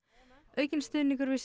aukinn stuðningur við